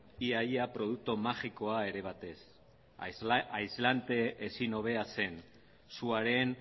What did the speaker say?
ia ia produktu magikoa ere bat zen aislante ezin hobea zen suaren